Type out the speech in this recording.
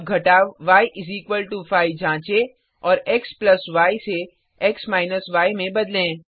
अब घटाव य 5 जाँचें और xy से x य में बदलें